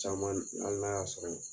Caman hali n'a y'a sɔrɔ